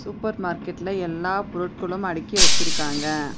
Super மார்க்கெட்ல எல்லா பொருட்களு அடிக்கி வச்சிருக்காங்க.